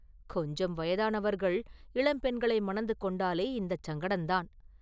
கொஞ்சம் வயதானவர்கள் இளம் பெண்களை மணந்து கொண்டாலே இந்தச் சங்கடந்தான்.